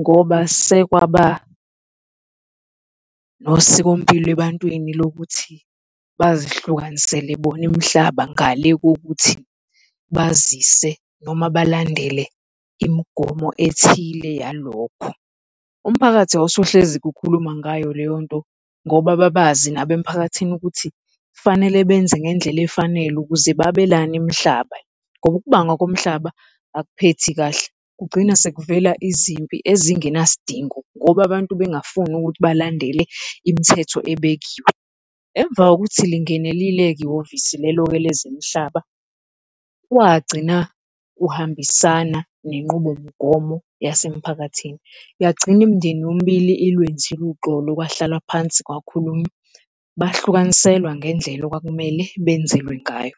ngoba sekwaba nosikompilo ebantwini lokuthi bazihlukanisele bona imihlaba ngale kokuthi bazise noma balandele imigomo ethile yalokho. Umphakathi wawusuhlezi ukhuluma ngayo leyonto ngoba babazi nabo emphakathini ukuthi kufanele benze ngendlela efanele ukuze babelane imhlaba, ngoba ukubanga komhlaba akuphethe kahle, kugcina sekuvela izimpi ezingenasidingo ngoba abantu bengingafuni ukuthi balandele imthetho ebekiwe. Emva kokuthi lingenelile-ke ihhovisi lelo-ke lezemihlaba, kwagcina kuhambisana nenqubomgomo yasemphakathini, yagcina imindeni yomibili olwenzile uxolo kwahlalwa phansi kwakhulunywa bahlukaniselwa ngendlela okwakumele benzelwe ngayo.